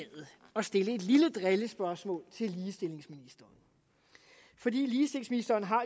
at stille et lille drillespørgsmål til ligestillingsministeren fordi ligestillingsministeren